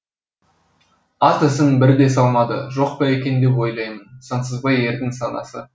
ат ізін бір де салмады жоқ па екен деп ойлаймын сансызбай ердің санасы